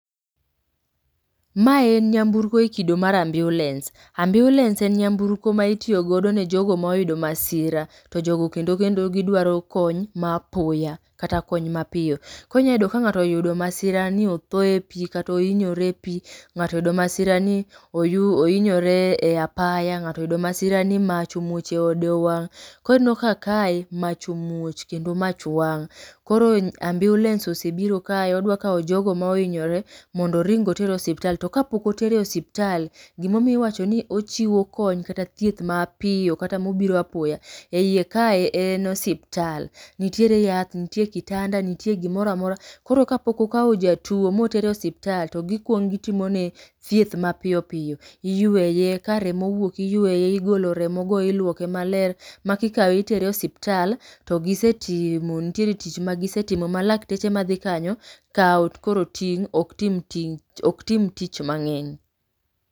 Mae en nyamburko e kodo mar ambiulens. Ambiulens en nyamburko maitiyo godo ne jogo moyudo masira., to jogo kendo kendo gidwaro kony ma apoya kata kony mapiyo. Koro inyalo yudo ka ng'ato oyudo masira ni otho e pi kata oinyore e pi, ng'ato oyudo masira ni oyu oinyore ei apaya ng'ato oyudo masira ni mach omuoch eode owang'. Koro ineno ka kaemach omuoch kendo mach wang'. Koro ambiulens osebiro kae odwa kawo jogo moinyore mondo oring oter osiptal to kapok otere osiptal, gima omiyo iwacho ni ochiwo kony kata thieth mapiyo kata mobiro apoya. Eiye kae en osiptal. Nitiere yath, nitire kitanda nitie gimoro amora. Koro kapok okawo jatuo m,otero e osiptal, to gikuongo gitimone thieth mapiyo piyo. iyueye, karemo owuok iyueye,. Igolo remogo iluoke maler, ma kikawe itere e osiptal to gisetimo nitiere tich magisetimo ma lakteche madhi kanyo kawo koro ting' ok tim ting' ok tim tich mang'eny.